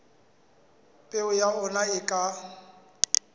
peo ya ona e ka